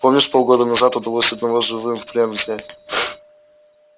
помнишь полгода назад удалось одного живым в плен взять